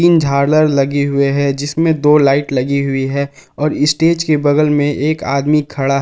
तीन झालर लगे हुए हैं जिसमें दो लाइट लगी हुई है और स्टेज के बगल में एक आदमी खड़ा है।